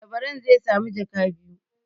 Labaran zai sami jaka biyu.